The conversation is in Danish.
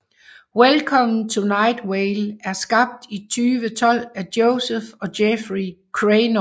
Welcome To Night Vale er skabt i 2012 af Joseph og Jeffrey Craynor